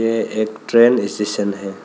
यह एक train station है।